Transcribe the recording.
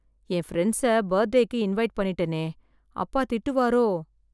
என் பிரண்ட்ஸை பர்த்டேக்கு இன்வைட் பண்ணிட்டனே, அப்பா திட்டுவாரோ?